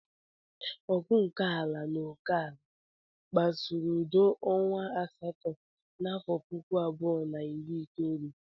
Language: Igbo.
Ọgụ nke ala na oke ala kpasuru udo ọnwa asatọ n'afọ puku abụọ na iri itoolu.